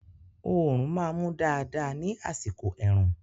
Oòrùn máa mú dáadáa ní àsìkò ẹ̀rùn